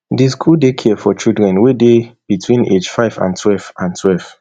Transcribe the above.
di school dey care for children wey dey between age five and twelve and twelve